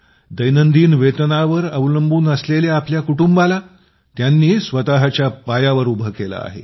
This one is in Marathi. दैनंदिन वेतनावर अवलंबून असलेल्या आपल्या कुटुंबाला तिने स्वतःच्या पायावर उभे केले आहे